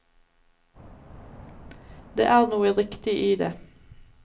Det er noe riktig i det.